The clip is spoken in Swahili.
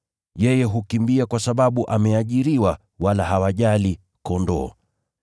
Yeye hukimbia kwa sababu ameajiriwa wala hawajali kondoo.